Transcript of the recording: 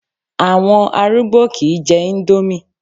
Àwọn arúgbó kìí jẹ índómì